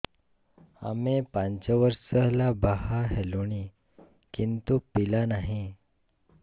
ଆମେ ପାଞ୍ଚ ବର୍ଷ ହେଲା ବାହା ହେଲୁଣି କିନ୍ତୁ ପିଲା ନାହିଁ